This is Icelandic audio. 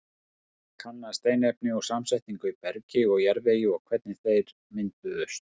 Kanna steinefni og samsetningu í bergi og jarðvegi og hvernig þeir mynduðust.